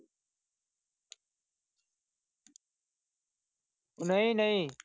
ਨਹੀਂ ਨਹੀਂ।